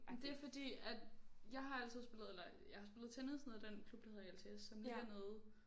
Men det fordi at jeg har altid spillet eller jeg har spillet tennis nede i den klub der hedder LTS som ligger nede